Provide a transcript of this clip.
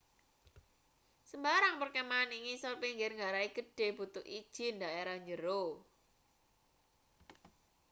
sembarang perkemahan ing ngisor pinggir ngarai gedhe butuh ijin daerah njero